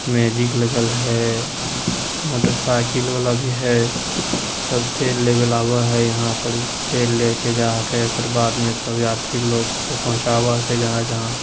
magic लगल है motorcycle वाला भी है सब तेल लेवेल आवा है यहां पड़ी तेल लेके जाके ओकर बाद में सभी यात्री लोग के पहुंचावा के जहाँ जहाँ--